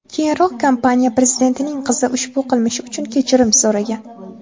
Keyinroq kompaniya prezidentining qizi ushbu qilmishi uchun kechirim so‘ragan.